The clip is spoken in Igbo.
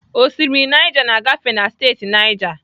Osimiri Naija na-agafe na steeti Naija.